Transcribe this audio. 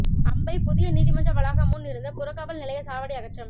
அம்பை புதிய நீதிமன்ற வளாகம் முன் இருந்தபுறக்காவல் நிலைய சாவடி அகற்றம்